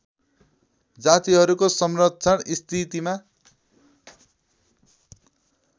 जातिहरूको संरक्षण स्थितिमा